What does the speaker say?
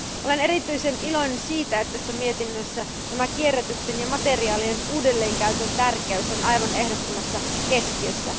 Olen erityisen iloinen siitä, että tässä mietinnössä kierrätyksen ja materiaalien uudelleenkäytön tärkeys on aivan ehdottomassa keskiössä.